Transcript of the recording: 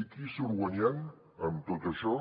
i qui hi surt guanyant amb tot això